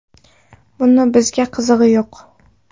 Buni bizga qizig‘i yo‘q.